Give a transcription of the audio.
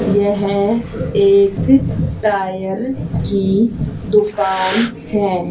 यह एक टायर की दुकान है।